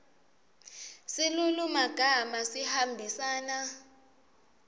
silulumagama sihambisana